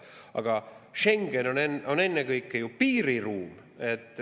Aga Schengen on ennekõike piiriruum.